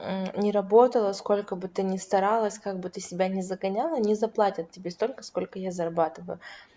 не работала сколько бы ты ни старалась как бы ты себя не загоняла не заплатят тебе столько сколько я зарабатываю